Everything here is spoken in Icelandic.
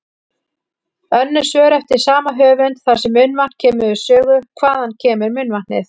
Önnur svör eftir sama höfund þar sem munnvatn kemur við sögu: Hvaðan kemur munnvatnið?